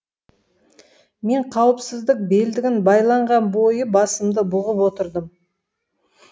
мен қауіпсіздік белдігін байланған бойы басымды бұғып отырдым